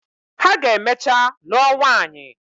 Ha ga emechaa lụọ nwanyị.